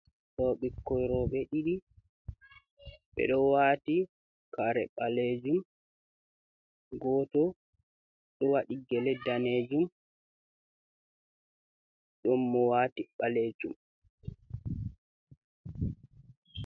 Do bikon robe didi, be do wati kare balejum goto dowadi gele danejum don mo wati balejum.